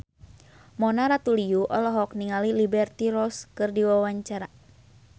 Mona Ratuliu olohok ningali Liberty Ross keur diwawancara